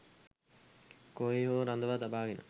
කොහේ හෝ රඳවා තබාගෙන